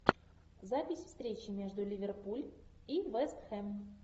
запись встречи между ливерпуль и вест хэм